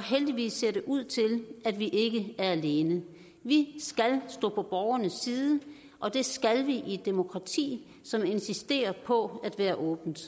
heldigvis ud til at vi ikke er alene vi skal stå på borgernes side og det skal vi i et demokrati som insisterer på at være åbent